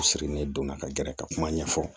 U sirilen donna ka gɛrɛ ka kuma ɲɛfɔ